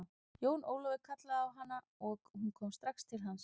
Jón ólafur kallaði á han aog hún kom strax til hans.